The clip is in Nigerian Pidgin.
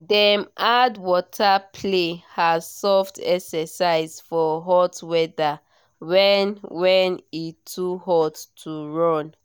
dem add water play as soft exercise for hot weather when when e too hot to run